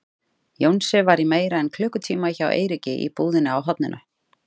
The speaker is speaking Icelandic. Jónsi var í meira en klukkutíma hjá Eiríki í búðinni á horninu.